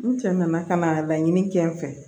N cɛ nana ka na laɲini kɛ n fɛ